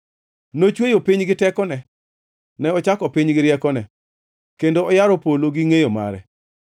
“Nochweyo piny gi tekone; ne ochako piny gi riekone, kendo oyaro polo gi ngʼeyo mare.